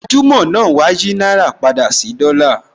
Gbajúmò/ ìlú mọ̀ńká náà wá á yìí náírà padà sí dollar